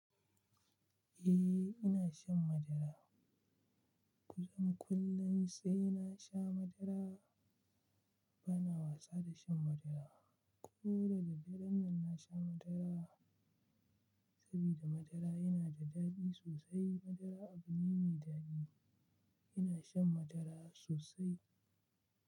Eh ina shan madara. Kusan kullum sai na sha madara bana wasa da shan madara. Ko daraddaren nan na sha madara saboda madara yana da daɗi sosai. Madara abu ne mai daɗi. Ina shan madara sosai.